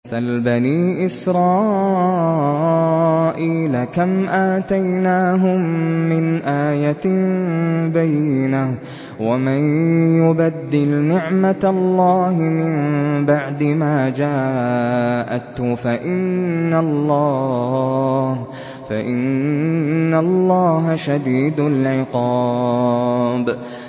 سَلْ بَنِي إِسْرَائِيلَ كَمْ آتَيْنَاهُم مِّنْ آيَةٍ بَيِّنَةٍ ۗ وَمَن يُبَدِّلْ نِعْمَةَ اللَّهِ مِن بَعْدِ مَا جَاءَتْهُ فَإِنَّ اللَّهَ شَدِيدُ الْعِقَابِ